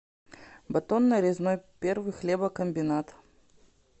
батон нарезной первый хлебокомбинат